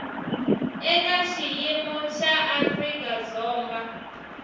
eka xiyimo xa afrika dzonga